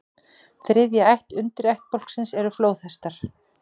Þriðja ætt undirættbálksins eru flóðhestar.